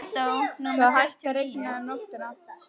Það hætti að rigna um nóttina.